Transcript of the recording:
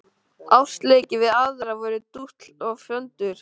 Ástarleikir við aðra voru dútl og föndur.